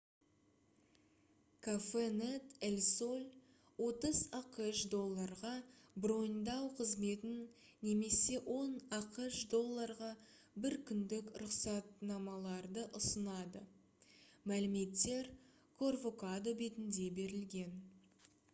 cafenet el sol 30 ақш долларға броньдау қызметін немесе 10 ақш долларға бір күндік рұқсатнамаларды ұсынады мәліметтер corvocado бетінде берілген